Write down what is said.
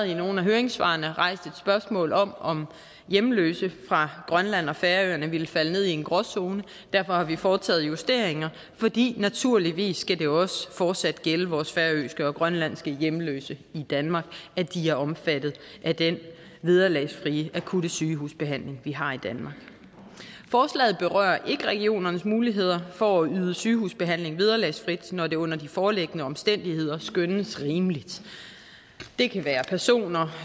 i nogle af høringssvarene været rejst et spørgsmål om om hjemløse fra grønland og færøerne ville falde ned i en gråzone og derfor har vi foretaget justeringer fordi det naturligvis også fortsat skal gælde vores færøske og grønlandske hjemløse i danmark at de er omfattet af den vederlagsfrie akutte sygehusbehandling vi har i danmark forslaget berører ikke regionernes muligheder for at yde sygehusbehandling vederlagsfrit når det under de foreliggende omstændigheder skønnes rimeligt det kan være personer